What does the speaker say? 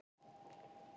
Það erum við öll.